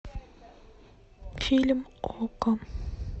фильм окко